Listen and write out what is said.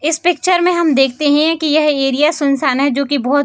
इस पिक्चर में हम देखते है की यह एरिया सुनशान है जो की --